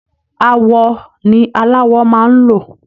Awọ ni aláwọ máa ń lò